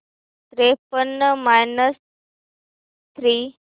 त्रेपन्न minus three